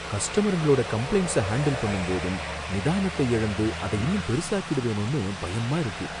கஸ்டமருங்களோட கம்பளைண்ட்ஸ ஹாண்டில் பண்ணும்போதும் நிதானத்தை எழந்து அத இன்னும் பெருசாக்கிடுவேனோனு பயமா இருக்கு.